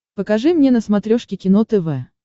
покажи мне на смотрешке кино тв